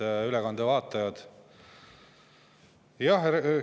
Head ülekande vaatajad!